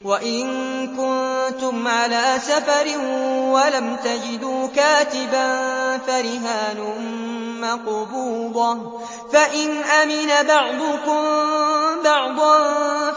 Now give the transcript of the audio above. ۞ وَإِن كُنتُمْ عَلَىٰ سَفَرٍ وَلَمْ تَجِدُوا كَاتِبًا فَرِهَانٌ مَّقْبُوضَةٌ ۖ فَإِنْ أَمِنَ بَعْضُكُم بَعْضًا